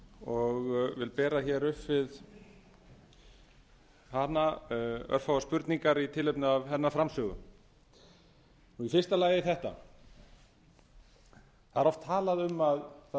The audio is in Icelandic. og vil bera upp við hana örfáar spurningar í tilefni af hennar framsögu í fyrsta lagi þetta það er oft talað um að